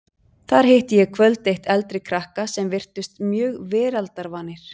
Þar hitti ég kvöld eitt eldri krakka sem virtust mjög veraldarvanir.